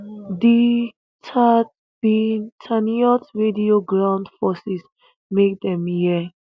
di tatzpitaniyot radio ground forces make dem hear